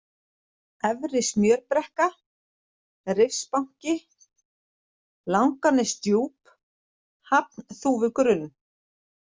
Efri-Smjörbrekka, Rifsbanki, Langanesdjúp, Hafnþúfugrunn